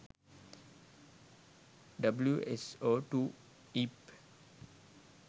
wso2 eip